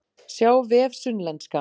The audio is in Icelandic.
Sjá vef Sunnlenska